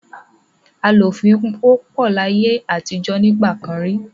Àìlófin wópò láyé àtijọ́ nígbà kan rí.